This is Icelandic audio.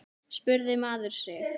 spurði maður sig.